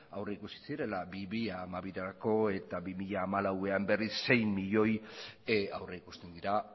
aurrikusi zirela bi mila hamabirako eta bi mila hamalauean berriz sei milioi aurrikusten dira